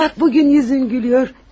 Bax, bu gün üzün gülür.